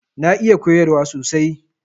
Na iya koyarwa sosai.